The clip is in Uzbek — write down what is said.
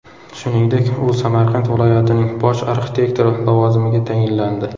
Shuningdek, u Samarqand viloyatining bosh arxitektori lavozimiga tayinlandi.